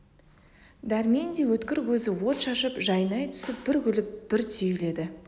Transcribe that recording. дәрмен де өткір көзі от шашып жайнай түсіп бір күліп бір түйіледі